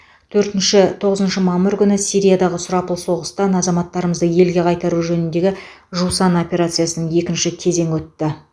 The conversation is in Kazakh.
төртінші тоғызыншы мамыр күні сириядағы сұрапыл соғыстан азаматтарымызды елге қайтару жөніндегі жусан операциясының екінші кезеңі өтті